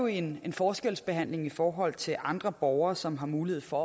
en forskelsbehandling i forhold til andre borgere som har mulighed for